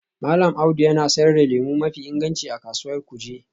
Mallam Audu yana sayar da lemu mafi inganci a Kasuwar Kuje